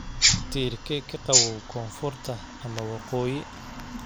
tiirkee ka qabow koonfurta ama waqooyi